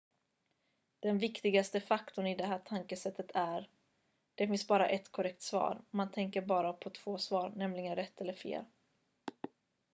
den viktigaste faktorn i det här tankesättet är det finns bara ett korrekt svar man tänker bara på två svar nämligen rätt eller fel